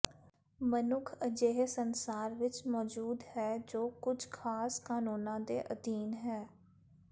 ਮਨੁੱਖ ਅਜਿਹੇ ਸੰਸਾਰ ਵਿੱਚ ਮੌਜੂਦ ਹੈ ਜੋ ਕੁਝ ਖਾਸ ਕਾਨੂੰਨਾਂ ਦੇ ਅਧੀਨ ਹੈ